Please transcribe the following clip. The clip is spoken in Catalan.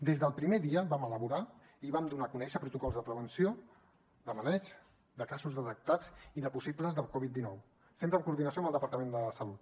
des del primer dia vam elaborar i vam donar a conèixer protocols de prevenció de maneig de casos detectats i de possibles de covid dinou sempre en coordinació amb el departament de salut